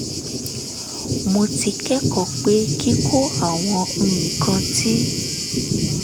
mo ti kẹ́kọ̀ọ́ pé kíkọ àwọn nǹkan tí